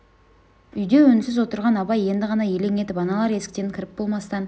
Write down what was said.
үйде үнсіз отырған абай енді ғана елең етіп аналар есіктен кіріп болмастан